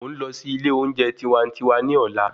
Mò ń lo sí ilè olóúnjẹ tiwantiwa ni ọ̀la